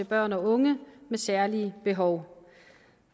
børn og unge med særlige behov